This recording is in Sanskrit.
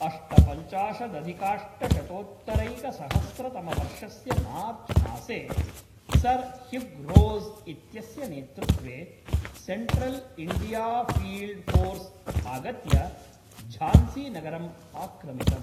अष्टपञ्चाशदधिकाष्टशतोत्तरैकसहस्रतमवर्षस्य मार्च्मासे, सर् ह्युग् रोस् इत्यस्य नेतृत्वे, सेण्ट्रल्इण्डियाफ़ील्ड्फ़ोर्स् आगत्य झांसीनगरं आक्रमितम्।